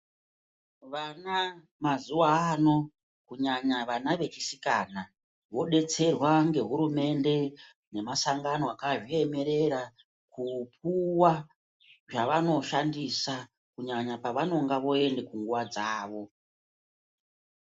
Vana mazuva ano kunyanya vana vechisikana vodetserwa nehurumende nemasangano akazviemerera kupuwa zvavanoshandisa kunyanya pavanoenda kunguwa dzawo.